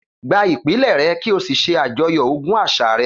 Gba ìpìlẹ̀ rẹ kí o sì ṣe àjọyọ̀ ogún àṣà rẹ